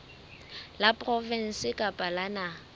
la provinse kapa la naha